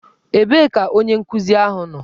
Ebee ka onye nkuzi ahụ nọ?